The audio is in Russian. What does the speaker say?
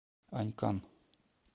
анькан